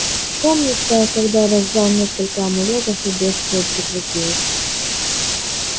помнится я когда раздал несколько амулетов и бедствие прекратилось